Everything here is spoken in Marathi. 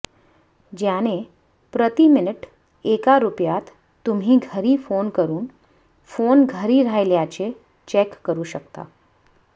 ज्याने प्रति मिनिट एका रुपयात तुम्ही घरी फोन करून फोन घरी राहिल्याचे चेक करू शकता